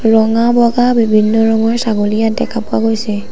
ৰঙা বগা বিভিন্ন ৰঙৰ ছাগলী ইয়াত দেখা পোৱা গৈছে।